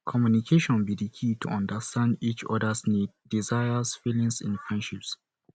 communication be di key to understand each odas needs desires and feelings in friendships